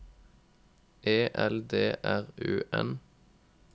E L D R U N